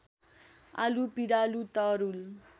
आलु पिँडालु तरुल